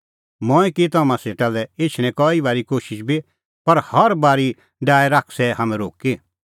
मंऐं की तम्हां सेटा लै एछणें कई बारी कोशिश बी पर हर बारी डाहै शैतानै हाम्हैं रोक्की